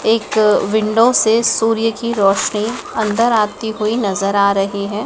एक विंडो से सूर्य की रोशनी अंदर आती हुई नजर आ रही है।